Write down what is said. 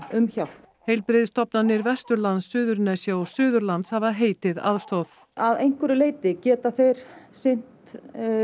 um hjálp heilbrigðisstofnanir Vesturlands Suðurnesja og Suðurlands hafa heitið aðstoð að einhverju leyti geta þeir sinnt